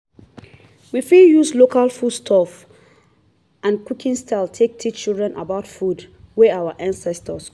we fit use proverbs and teachings wey we don learn from our ancestor take train pikin